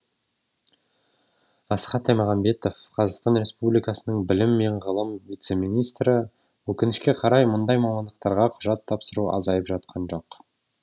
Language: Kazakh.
асхат аймағамбетов қр білім және ғылым вице министрі өкінішке қарай мұндай мамандықтарға құжат тапсыру азайып жатқан жоқ